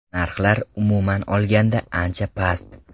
Narxlar, umuman olganda, ancha past.